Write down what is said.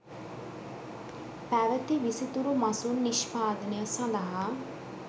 පැවති විසිතුරු මසුන් නිෂ්පාදනය සඳහා